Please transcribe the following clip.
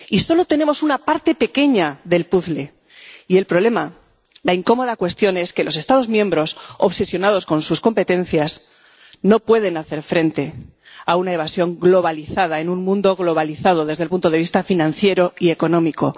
Y solo tenemos una parte pequeña del puzle, y el problema, la incómoda cuestión es que los Estados miembros, obsesionados con sus competencias, no pueden hacer frente a una evasión globalizada en un mundo globalizado desde el punto de vista financiero y económico.